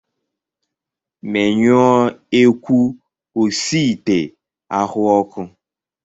Menyụọ ekwu osiite ahụ ọkụ!